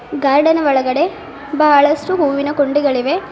Garden ಒಳಗಡೆ ಬಹಳಷ್ಟು ಹೂವಿನ ಕುಂಡಿಗಳಿವೆ.